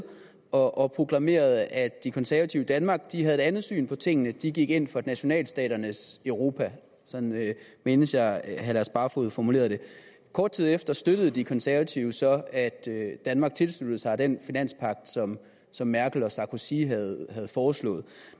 og proklamerede at de konservative i danmark havde et andet syn på tingene de gik ind for nationalstaternes europa sådan mindes jeg at herre lars barfoed formulerede det kort tid efter støttede de konservative så at danmark tilsluttede sig den finanspagt som som merkel og sarkozy havde foreslået